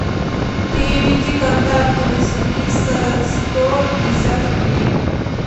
переведи контакту василиса сто пятьдесят рублей